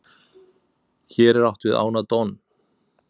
hér er átt við ána don